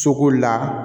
Soko la